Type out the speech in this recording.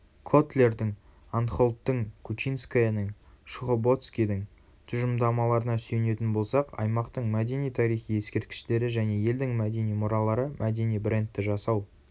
котлердің анхолттің кучинскаяның шухободскийдің тұжырымдамаларына сүйенетін болсақ аймақтың мәдени-тарихи ескерткіштері және елдің мәдени мұралары мәдени брендті жасау